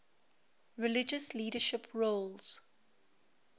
religious leadership roles